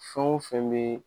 Fɛn o fɛn bɛ